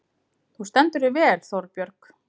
Þú stendur þig vel, Þórbjörg!